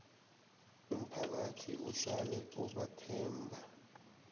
umphakathi uhlale ubathemba